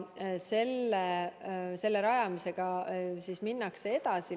Selle rajamisega minnakse edasi.